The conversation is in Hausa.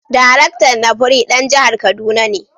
Daraktan NAPRI dan jihar Kaduna ne.